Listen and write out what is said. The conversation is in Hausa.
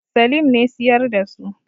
Salim ne siyar da su.